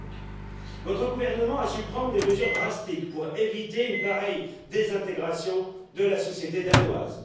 2005. Votre gouvernement a su prendre des mesures drastiques pour éviter une pareille désintégration de la société danoise.